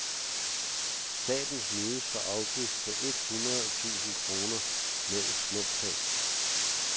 Staten snydes for afgift på et hundrede tusind kroner med et snuptag.